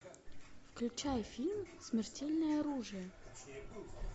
включай фильм смертельное оружие